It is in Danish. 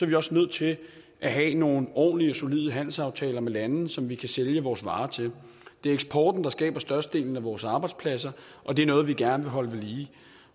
vi også nødt til at have nogle ordentlige og solide handelsaftaler med lande som vi kan sælge vores varer til det er eksporten der skaber størstedelen af vores arbejdspladser og det er noget vi gerne vil holde ved lige